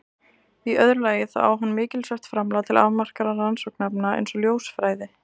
Í öðru lagi þá á hann mikilsvert framlag til afmarkaðra rannsóknarefna eins og ljósfræði.